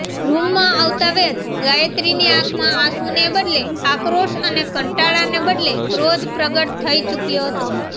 રૂમમાં આવતાવેંત ગાયત્રીની આંખમાં આંસુને બદલે આક્રોશ અને કંટાળાને બદલે ક્રોધ પ્રગટ થઈ ચૂક્યો હતો